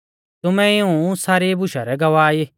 तुमै इऊं सारी बुशा रै गवाह ई